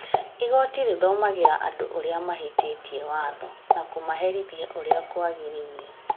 Igoti rĩthomagĩra andũ arĩa mahĩtĩtie watho na kũmaherithia ũrĩa kwagĩrĩire